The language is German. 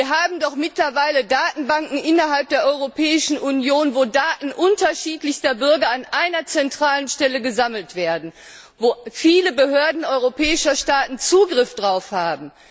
Wir haben doch mittlerweile Datenbanken innerhalb der Europäischen Union, in denen Daten unterschiedlichster Bürger an einer zentralen Stelle gesammelt werden und auf die viele Behörden europäischer Staaten Zugriff haben.